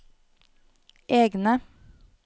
egne